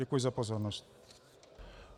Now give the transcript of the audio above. Děkuji za pozornost.